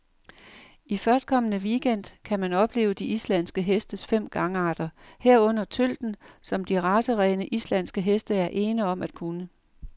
I førstkommende weekend gang kan man opleve de islandske hestes fem gangarter, herunder tølten, som de racerene, islandske heste er ene om at kunne.